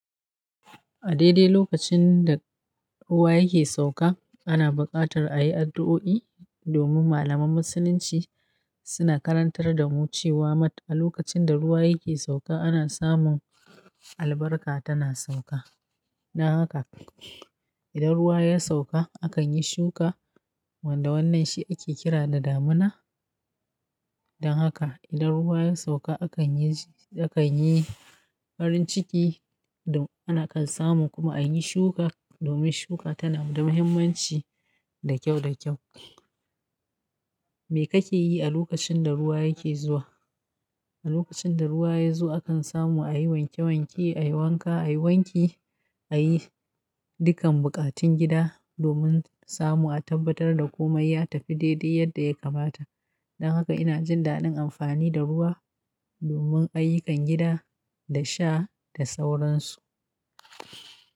A daidai lokacin da ruwa yake sauka, ana buƙatar ayi addu'o'i domin malaman Musulunci, suna karantar damu cewa mat a lokacin da ruwa yake sauka ana samun albarka tana sauka. Don haka idan ruwa ya sauka, akanyi shuka, wanda wannan shi ake kira da damina. Don haka idan ruwa ya sauka, akanyi, akanyi farin ciki ana kan samu kuma ayi shuka domin shuka tanada muhimmanci da kyau da kyau. Me kake yi a lokacin da ruwa yake zuwa? A lokacinda ruwa yazo, akan samu ayi wanke wanke, a yi wanka, a yi wanki, a yi dukkan buƙatun gida domin samu a tabbatar da komai ya tafi daidai yadda ya kamata. Don haka ina jin daɗin amfani da ruwa domin ayyukan gida da sha da sauransu.